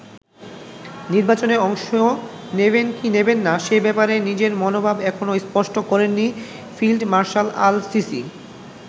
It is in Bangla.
নির্বাচনে অংশ নেবেন কি নেবেন না, সে ব্যাপারে নিজের মনোভাব এখনো স্পষ্ট করেননি ফিল্ড মার্শাল আল সিসি।